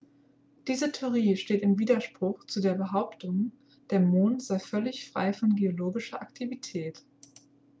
diese theorie steht im widerspruch zu der behauptung der mond sei völlig frei von geologischer aktivität